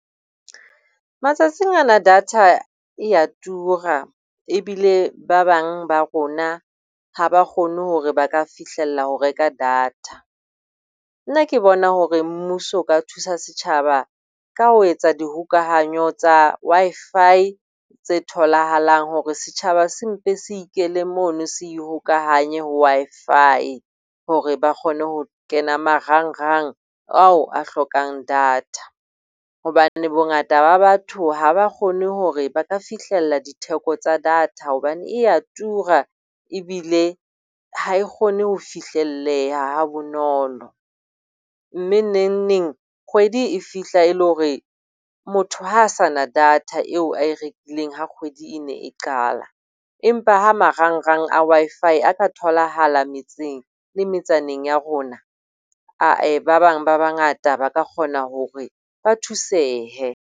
Matsatsing ana data e a tura ebile ba bang ba rona ha ba kgone hore ba ka fihlella ho reka data. Nna ke bona hore mmuso o ka thusa setjhaba ka ho etsa dihokahanyo tsa Wi-Fi tse tholahalang hore setjhaba se mpe se ikele mono se ikgokahanye ho Wi-Fi, hore ba kgone ho kena marangrang ao a hlokang data. Hobane bongata ba batho ha ba kgone hore ba ka fihlella ditheko tsa data hobane e a tura ebile ha e kgone ho fihlelleha ha bonolo. Mme nengneng kgwedi e fihla e le hore motho ha a sa na data eo a e rekileng ha kgwedi e ne e qala. Empa ha marangrang a Wi-Fi a ka tholahala metseng le metsaneng ya rona ah-eh, ba bang ba bangata ba ka kgona hore ba thusehe.